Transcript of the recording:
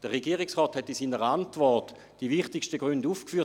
Der Regierungsrat hat in seiner Antwort die wichtigsten Gründe aufgeführt.